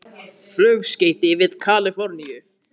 Flugskeyti við Kalíforníu